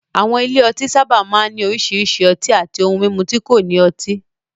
Àwọn ilé ọtí sábà máa ń ní oríṣiríṣi ọtí àti ohun mímu tí kò ní ọtí.